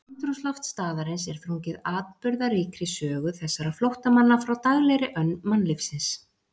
Andrúmsloft staðarins er þrungið atburðaríkri sögu þessara flóttamanna frá daglegri önn mannlífsins.